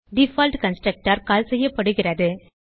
default constructor call செய்யப்படுகிறது